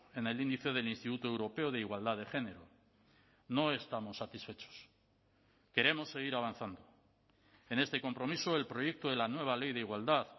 en el índice del instituto europeo de igualdad de género no estamos satisfechos queremos seguir avanzando en este compromiso el proyecto de la nueva ley de igualdad